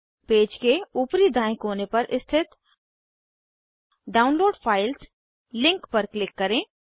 page के ऊपरी दायें कोने पर स्थित डाउनलोड फाइल्स लिंक पर क्लिक करें